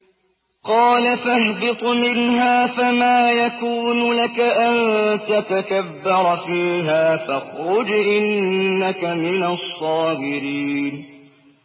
قَالَ فَاهْبِطْ مِنْهَا فَمَا يَكُونُ لَكَ أَن تَتَكَبَّرَ فِيهَا فَاخْرُجْ إِنَّكَ مِنَ الصَّاغِرِينَ